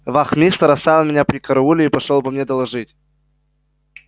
вахмистр оставил меня при карауле и пошёл обо мне доложить